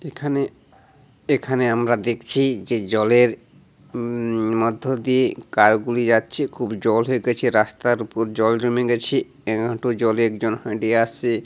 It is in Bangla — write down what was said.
এখানে এখানে আমরা দেখছি-ই যে জলের উ-ম-ম মধ্য দিয়ে কার গুলি যাচ্ছেখুব জল হয়ে গেছে। রাস্তার উপর জল জমে গেছে । এক হাঁটু জলে একজন হাঁটি আসছে--